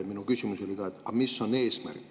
Ma küsingi, mis on eesmärk.